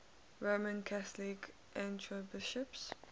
roman catholic archbishops